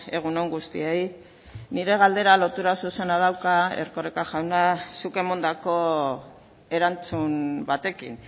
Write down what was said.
egun on guztiei nire galdera lotura zuzena dauka erkoreka jauna zuk emandako erantzun batekin